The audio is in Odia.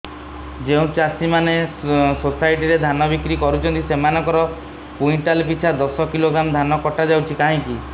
ଯେଉଁ ଚାଷୀ ମାନେ ସୋସାଇଟି ରେ ଧାନ ବିକ୍ରି କରୁଛନ୍ତି ସେମାନଙ୍କର କୁଇଣ୍ଟାଲ ପିଛା ଦଶ କିଲୋଗ୍ରାମ ଧାନ କଟା ଯାଉଛି କାହିଁକି